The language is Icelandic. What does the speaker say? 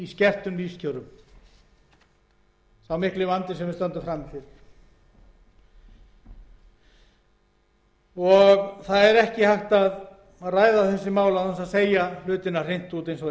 þjóðinni í skertum lífskjörum það er ekki hægt að ræða þessi mál án þess að segja hlutina hreint út eins og